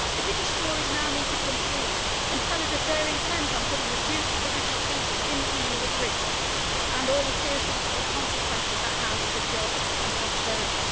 The British Tories now need to come clean and tell us if they are intent on putting the future of the British people in the EU at risk, with all the serious consequences that has for jobs and prosperity.